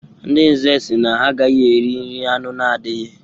Ndị Nze sị na ha agaghị eri nri anụ na-adighị.